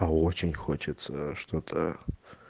очень хочется что-то